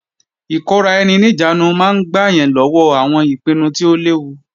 Ìkóra-ẹni-níjàánu máa ń gbà yàn lọ́wọ́ àwọn ìpinnu tí ó léwu